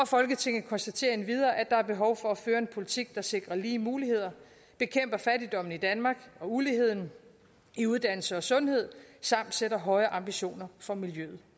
folketinget konstaterer endvidere at der er behov for at føre en politik der sikrer lige muligheder bekæmper fattigdommen i danmark og uligheden i uddannelse og sundhed samt sætter høje ambitioner for miljøet